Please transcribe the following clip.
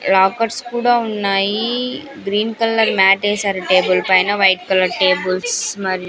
Rockers కూడా ఉన్నాయి green colour mat వేశారు టేబుల్ పైన వైట్ కలర్ టేబుల్స్ మరి.